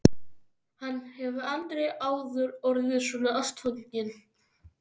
Hann hefur aldrei áður orðið svona ástfanginn.